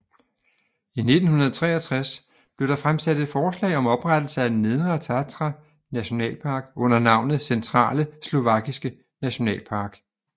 I 1963 blev der fremsat et forslag om oprettelse af Nedre Tatra Nationalpark under navnet Centrale Slovakiske Nationalpark